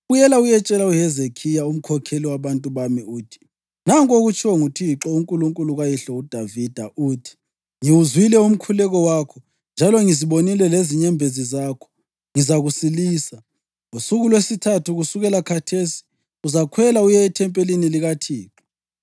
“Buyela uyetshela uHezekhiya, umkhokheli wabantu bami uthi, ‘Nanku okutshiwo nguThixo, uNkulunkulu kayihlo uDavida. Uthi: Ngiwuzwile umkhuleko wakho njalo ngizibonile lezinyembezi zakho; ngizakusilisa. Ngosuku lwesithathu kusukela khathesi uzakhwela uye ethempelini likaThixo.